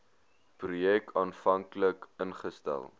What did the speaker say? projek aanvanklik ingestel